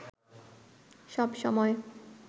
সব সময়